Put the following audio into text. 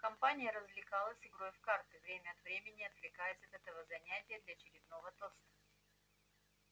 компания развлекалась игрой в карты время от времени отвлекаясь от этого занятия для очередного тоста